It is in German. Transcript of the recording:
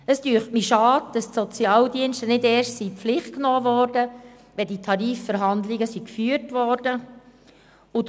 Ich finde es schade, dass die Sozialdienste nicht erst in die Pflicht genommen werden, wenn die Tarifverhandlungen geführt worden sind.